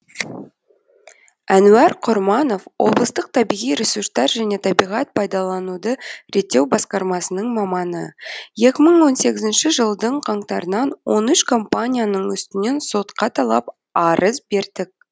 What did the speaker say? әнуар құрманов облыстық табиғи ресурстар және табиғат пайдалануды реттеу басқармасының маманы екі мың он сегізінші жылдың қаңтарынан он үш компанияның үстінен сотқа талап арыз бердік